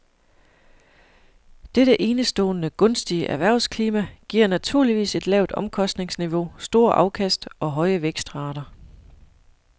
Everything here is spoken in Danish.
Dette enestående gunstige erhvervsklima giver naturligvis et lavt omkostningsniveau, store afkast og høje vækstrater.